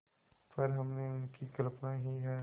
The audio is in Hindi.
पर हमने उनकी कल्पना ही है